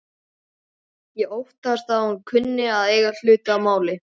Ég óttast að hún kunni að eiga hlut að máli.